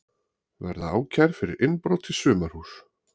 Verða ákærð fyrir innbrot í sumarhús